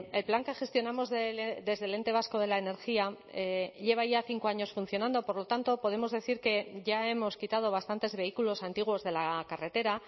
el plan que gestionamos desde el ente vasco de la energía lleva ya cinco años funcionando por lo tanto podemos decir que ya hemos quitado bastantes vehículos antiguos de la carretera